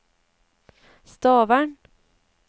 Stavern